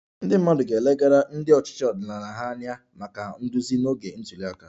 Ndị mmadụ ga-elegara ndị ọchịchị ọdịnala ha anya maka nduzi n'oge ntuli aka